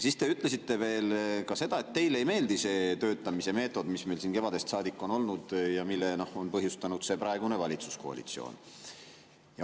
Siis te ütlesite veel, et teile ei meeldi see töötamise meetod, mis meil siin kevadest saadik on olnud ja mille on põhjustanud praegune valitsuskoalitsioon.